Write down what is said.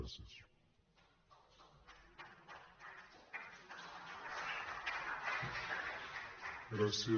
gràcies